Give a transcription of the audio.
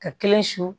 Ka kelen su